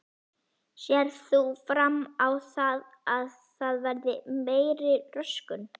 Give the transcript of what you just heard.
Sérð þú fram á það að það verði meiri röskun?